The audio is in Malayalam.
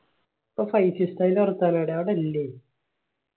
അപ്പൊ ഫൈസി ഉസ്താദിന്റെ സ്ഥല എവ്ടെയാ അവിടില്ലേ